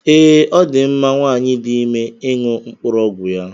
Ee, ọ dị mma nwanyị dị ime ịṅụ mkpụrụ ọgwụ ya.